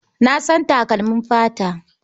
Na san takalmin fata.